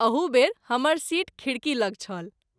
अहू बेर हमर सीट खिड़की लग छल।